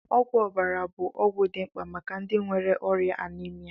Ọgwụ ọbara bụ ọgwụ dị mkpa maka ndị nwere ọrịa Anemia